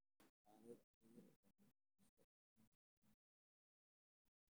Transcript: Xaalado tiro yar, soo noqnoqosho ama xumaan ayaa la soo sheegay.